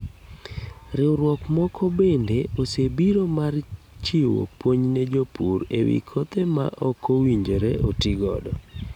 Riwruok moko bende osebiro mar chiwo puonj ne jopur ewi kothe ma okowinjore oti godo.